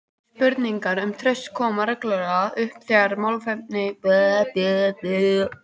Spurningar um traust koma reglulega upp þegar málefni samfélagsins eru rædd.